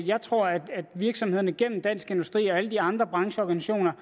jeg tror at virksomhederne gennem dansk industri og alle de andre brancheorganisationer